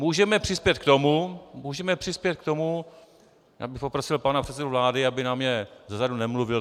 Můžeme přispět k tomu, můžeme přispět k tomu - já bych poprosil pana předsedu vlády, aby na mě zezadu nemluvil.